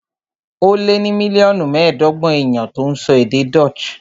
Ó lé ní mílíọ̀nù mẹ́ẹ̀ẹ́dọ́gbọ̀n èèyàn tó ń sọ èdè Dutch